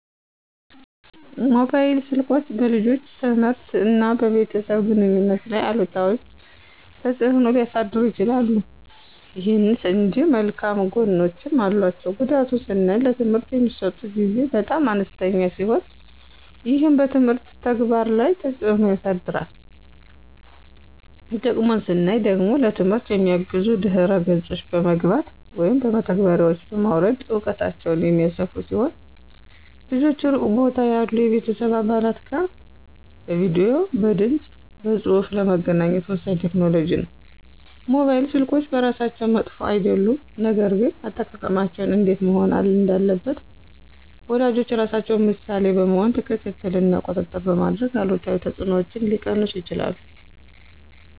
ሞባይል ስልኮች በልጆች ትምህርት እና በቤተሰብ ግንኙነት ላይ አሉታዊ ተጽዕኖ ሊያሳድሩ ይችላሉ። ይሁን እንጂ መልካም ጎኖችም አሏቸው። ጉዳቱን ስናይ ለትምህርት የሚሰጡት ጊዜ በጣም አነስተኛ ሲሆን ይህም በትምህርት ተግባር ላይ ተጽዕኖ ያሳድራል። ጥቅሙን ስናይ ደግሞ ለትምህርት የሚያግዙ ድህረ ገጾች በመግባት (መተግበሪያዎችን) በማውረድ እውቀታቸውን የሚያሰፉ ሲሆን ልጆች ሩቅ ቦታ ያሉ የቤተሰብ አባላት ጋር በቪዲዬ፣ በድምፅ በፁሁፍ ለመገናኘት ወሳኝ ቴክኖሎጂ ነው። ሞባይል ስልኮች በራሳቸው መጥፎ አይደሉም፣ ነገር ግን አጠቃቀማቸው እንዴት መሆን እንዳለበት ወላጆች ራሳቸው ምሳሌ በመሆን ክትትል እና ቁጥጥር በማድረግ አሉታዊ ተጽዕኖዎችን ሊቀንሱ ይችላሉ።